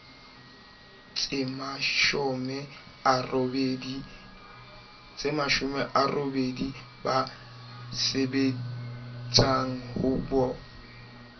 tsemashome a robedi ba sebetsahoba